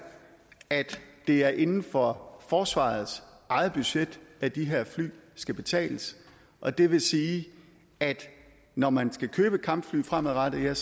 at det er inden for forsvarets eget budget at de her fly skal betales og det vil sige at når man skal købe kampfly fremadrettet er